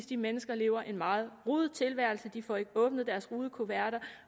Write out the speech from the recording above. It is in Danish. de mennesker lever en meget rodet tilværelse de får ikke åbnet deres rudekuverter